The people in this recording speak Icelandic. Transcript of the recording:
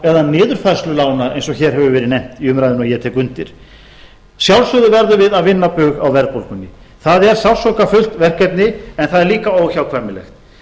eða niðurfærslu lána eins og hér hefur verið nefnt í umræðunni og ég tek undir að sjálfsögðu verðum við að vinna bug á verðbólgunni það er sársaukafullt verkefni en það er líka óhjákvæmilegt